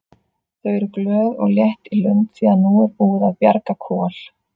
Þau eru glöð og létt í lund því að nú er búið að bjarga Kol.